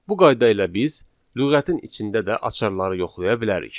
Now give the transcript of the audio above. Bu qayda ilə biz lüğətin içində də açarları yoxlaya bilərik.